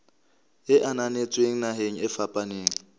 e ananetsweng naheng e fapaneng